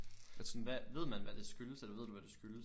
Altså sådan hvad ved man havd det skyldes eller ved du hvad det skyldes?